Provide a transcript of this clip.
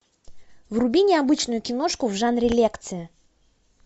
вруби необычную киношку в жанре лекция